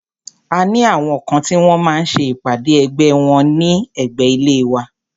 A ní àwọn kan tí wọ́n máa ń ṣe ìpàdé ẹgbẹ́ wọ́n ní ẹ̀gbé ilé wa.